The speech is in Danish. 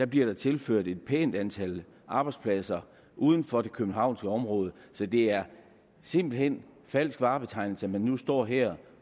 bliver der tilført et pænt antal arbejdspladser uden for det københavnske område så det er simpelt hen falsk varebetegnelse at man nu står her